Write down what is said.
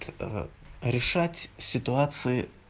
а решать ситуации